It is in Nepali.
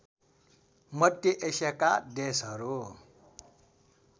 मध्य एसियाका देशहरू